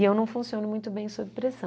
E eu não funciono muito bem sob pressão.